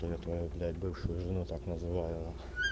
да я твою блять бывшую жену так называю нахуй